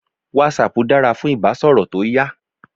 WhatsApp dára fún ìbásọ̀rọ̀ tó yá.